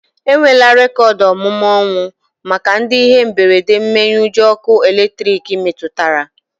Enwela rekoodu omume ọnwụ maka ndị ihe mberede mmenyeujọ ọkụ elektriki metụtara